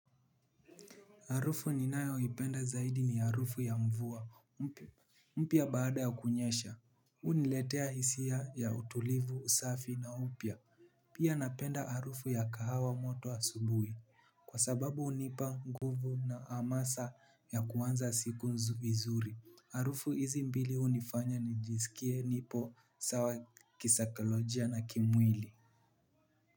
Harufu ninayoipenda zaidi ni harufu ya mvua mpya baada ya kunyesha huniletea hisia ya utulivu, usafi na upya. Pia napenda harufu ya kahawa moto asubuhi. Kwa sababu hunipa nguvu na hamasa ya kuanza siku vizuri harufu hizi mbili hunifanya nijisikie nipo sawa kisaikolojia na kimwili.